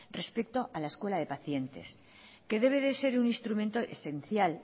respecto a la escuela de pacientes que debe de ser un instrumento esencial